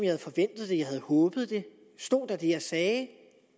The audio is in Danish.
havde forventet det jeg havde håbet det stod der det jeg sagde